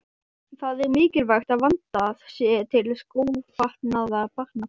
Það er mikilvægt að vandað sé til skófatnaðar barna.